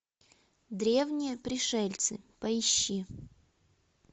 древние пришельцы поищи